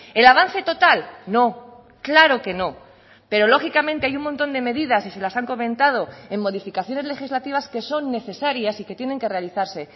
el avance total no claro que no pero lógicamente hay un montón de medidas y se las han comentado en modificaciones legislativas que son necesarias y que tienen que realizarse